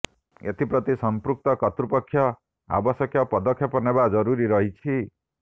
ଏଥିପ୍ରତି ସଂପୃକ୍ତ କର୍ତୃପକ୍ଷ ଆବଶ୍ୟପ ପଦକ୍ଷେପ ନେବା ଜରୁରୀ ରହିଛି